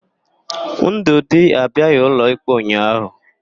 Ndụdị abiaghị ụlọikpe ụnyaahụ.